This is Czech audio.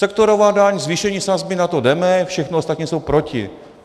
Sektorová daň, zvýšení sazby, na to jdeme, všichni ostatní jsou proti.